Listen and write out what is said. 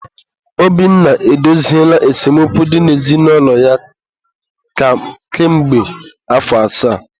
Obinna edoziela esemokwu dị n'ezinụlọ ya ka mgbe afọ asaa?